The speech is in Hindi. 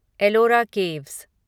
एलोरा केव्स